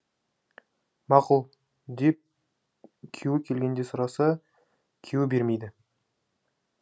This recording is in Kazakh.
мақұл деп күйеуі келгенде сұраса күйеуі бермейді